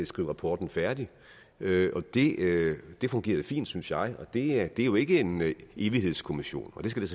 skrive rapporten færdig det det fungerede fint synes jeg og det her er jo ikke en evighedskommission og det skal det